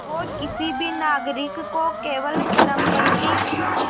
वो किसी भी नागरिक को केवल चरमपंथ